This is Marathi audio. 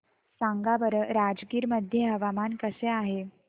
सांगा बरं राजगीर मध्ये हवामान कसे आहे